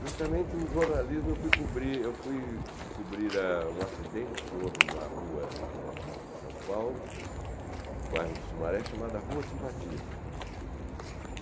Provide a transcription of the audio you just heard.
Justamente o jornalismo, eu fui cobrir eu fui cubrir ah um acidente que houve em uma rua de São Paulo, no bairro do Sumaré, chamada Rua Simpatia.